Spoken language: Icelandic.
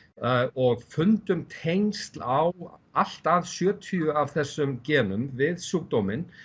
og fundum tengsl á allt að sjötíu af þessum genum við sjúkdóminn